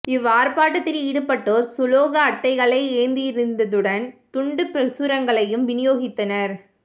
இவ் ஆர்ப்பாட்டத்தில் ஈடுபட்டோர் சுலோக அட்டைகளை ஏந்தியிருந்ததுடன் துண்டுப் பிரசுரங்களையும் விநியோகித்தனர்